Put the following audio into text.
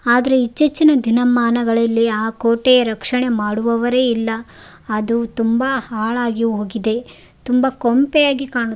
ಆದ್ರೆ ಇತ್ತೀಚಿನ ದಿನಮಾನಗಳಲ್ಲಿ ಆ ಕೋಟೆಯ ರಕ್ಷಣೆ ಮಾಡಿವವರೆ ಇಲ್ಲ ಅದು ತುಂಬಾ ಹಾಳಾಗಿ ಹೋಗಿದೆ ತುಂಬಾ ಕೊಂಪೆಯಾಗಿ ಕಾಣು --